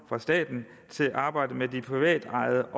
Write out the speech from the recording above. fra staten til arbejdet med de privatejede